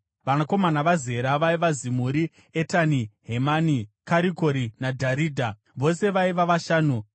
Vanakomana vaZera vaiva: Zimuri, Etani, Hemani, Karikori naDharidha; vose vaiva vashanu.